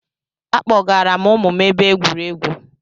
Akpọgara m ụmụ m ebe egwuregwu